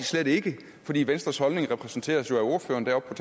slet ikke fordi venstres holdning jo repræsenteres af ordføreren deroppe